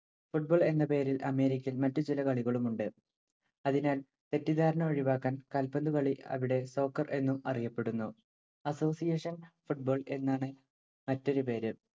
football എന്ന പേരിൽ അമേരിക്കയിൽ മറ്റു ചില കളികളുമുണ്ട്‌. അതിനാൽ തെറ്റിദ്ധാരണ ഒഴിവാക്കാൻ കാൽപന്തുകളി അവിടെ soccer എന്നും അറിയപ്പെടുന്നു. association football എന്നാണ് മറ്റൊരു പേര്.